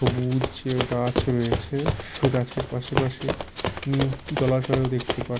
সবুজ গাছ রয়েছে ওই গাছের পাশাপাশি উম জলাশয়ও দেখতে পার--